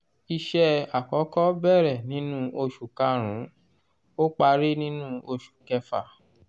iṣẹ́ àkọ́kọ́ bẹ̀rẹ̀ nínú oṣù kàrún-ún ó parí nínú oṣù kẹfà.